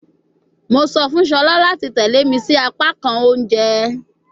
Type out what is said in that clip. Mo sọ fun Shola lati tẹle mi si apakan ounjẹ